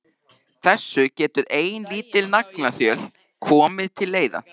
Þessu getur ein lítil naglaþjöl komið til leiðar.